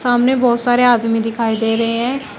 सामने बहुत सारे आदमी दिखाई दे रहे हैं।